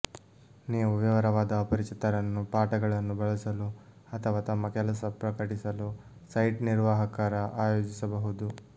ನೀವು ವಿವರವಾದ ಅಪರಿಚಿತರನ್ನು ಪಾಠಗಳನ್ನು ಬಳಸಲು ಅಥವಾ ತಮ್ಮ ಕೆಲಸ ಪ್ರಕಟಿಸಲು ಸೈಟ್ ನಿರ್ವಾಹಕರ ಆಯೋಜಿಸಬಹುದು